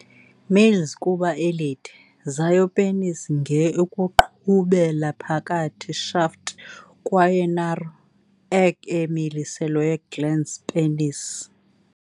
Males kuba elide, zayo penis nge ukuqhubela phakathi shaft kwaye narrow, egg-emilisiweyo glans penis.